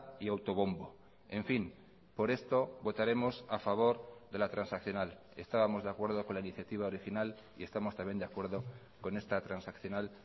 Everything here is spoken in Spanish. y autobombo en fin por esto votaremos a favor de la transaccional estábamos de acuerdo con la iniciativa original y estamos también de acuerdo con esta transaccional